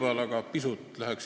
Austatud härra juhataja!